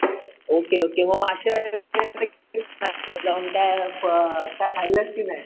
Okay okay मग मागच्या वेळेस जाऊन काही खाल्लंस कि नाय.